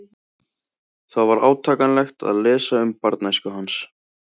Það var átakanlegt að lesa um barnæsku hans.